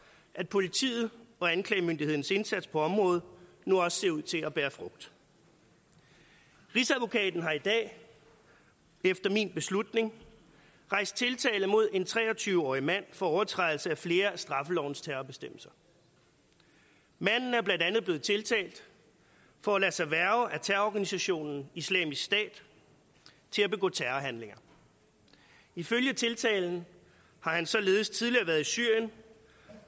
at politiet og anklagemyndighedens indsats på området nu også ser ud til at bære frugt rigsadvokaten har i dag efter min beslutning rejst tiltale mod en tre og tyve årig mand for overtrædelse af flere af straffelovens terrorbestemmelser manden er blandt andet blevet tiltalt for at lade sig hverve af terrororganisationen islamisk stat til at begå terrorhandlinger ifølge tiltalen har han således tidligere været i syrien